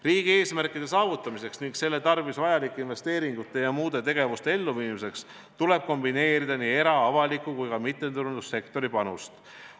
" Riigi eesmärkide saavutamiseks ning selle tarvis vajalike investeeringute ja muude tegevuste elluviimiseks tuleb kombineerida era-, avaliku ja mittetulundussektori panust.